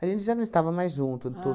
gente já não estava mais junto, tudo.